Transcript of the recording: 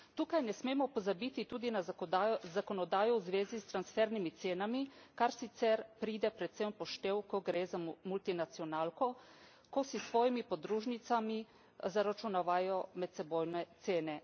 Tukaj ne smemo pozabiti tudi na zakonodajo v zvezi s transfernimi cenami, kar sicer pride predvsem v poštev, ko gre za multinacionalko, ko si s svojimi podružnicami zaračunavajo medsebojne cene.